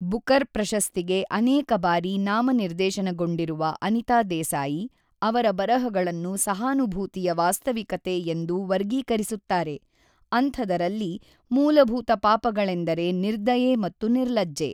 Booker ಪ್ರಶಸ್ತಿಗೆ ಅನೇಕ ಬಾರಿ ನಾಮನಿರ್ದೇಶನಗೊಂಡಿರುವ ಅನಿತಾ ದೇಸಾಯಿ, ಅವರ ಬರಹಗಳನ್ನು ಸಹಾನುಭೂತಿಯ ವಾಸ್ತವಿಕತೆ ಎಂದು ವರ್ಗೀಕರಿಸುತ್ತಾರೆ, ಅಂಥದರಲ್ಲಿ ಮೂಲಭೂತ ಪಾಪಗಳೆಂದರೆ ನಿರ್ದಯೆ ಮತ್ತು ನಿರ್ಲಜ್ಜೆ.